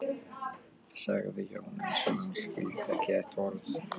sagði Jón, eins og hann skildi ekki þetta orð.